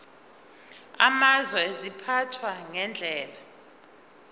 amazwe ziphathwa ngendlela